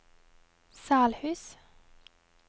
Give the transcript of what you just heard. Salhus